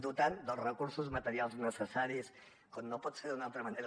dotar dels recursos materials necessaris com no pot ser d’una altra manera